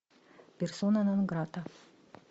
персона нон грата